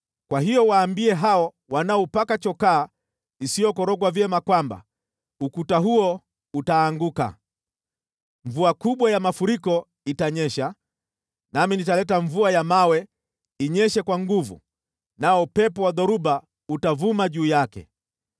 kwa hiyo waambie hao wanaoupaka chokaa isiyokorogwa vyema kwamba ukuta huo utaanguka. Mvua kubwa ya mafuriko itanyesha, nami nitaleta mvua ya mawe inyeshe kwa nguvu, nao upepo wa dhoruba utavuma juu yake.